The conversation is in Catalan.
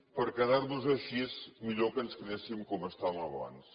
per quedar nos així millor que ens quedéssim com estàvem abans